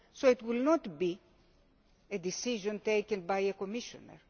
So it will not be a decision taken by a Commissioner.